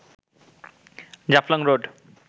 Jaflong road